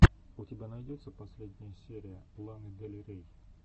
у тебя найдется последняя серия ланы дель рей